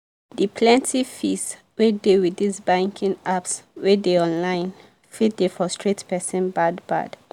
the plenty fees wey dey with this banking apps wey dey online fit dey frustrate persin bad bad.